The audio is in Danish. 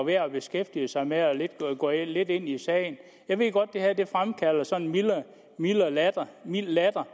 værd at beskæftige sig med og gå lidt ind i sagen jeg ved godt at det her fremkalder sådan en mild latter